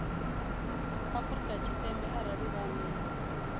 afrika tshipembe arali vha nnḓa